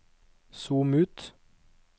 zoom ut